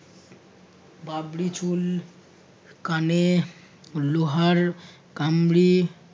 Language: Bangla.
বাবরি চুল কানে লোহার কামড়ি